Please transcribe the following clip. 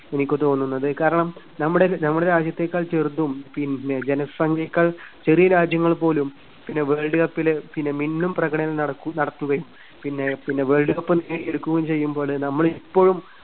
എനിക്ക് തോന്നുന്നത്. കാരണം നമ്മുടെ നമ്മുടെ രാജ്യത്തെക്കാൾ ചെറുതും പിന്നെ ജനസംഖ്യയെക്കാൾ ചെറിയ രാജ്യങ്ങൾപോലും പിന്നെ വേൾഡ് കപ്പില് പിന്നെ മിന്നും പ്രകടനം നടക്കു~നടത്തുകയും പിന്നെ പിന്നെ വേൾഡ് കപ്പ് നേടിയെടുക്കുകയും ചെയ്യുമ്പോള് നമ്മള് ഇപ്പഴും